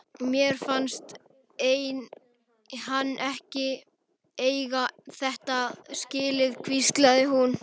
Mér fannst hann eiga þetta skilið- hvíslaði hún.